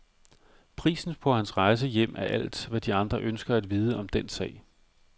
Prisen på hans rejse hjem er alt, hvad de andre ønsker at vide om den sag.